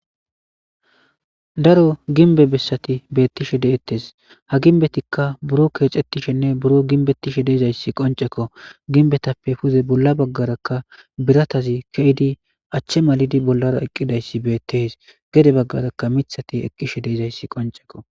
daro ginbe bessati beettishe de7ettes ha ginbetikka buro keexettishenne buro ginbettishe deezayssi qoncekko ginbetappe puze bolla baggaraka biratazi keydi achche malidi bollara eqqidayssi beettees gede baggarakka mithati eqqishe deizayssi qonceko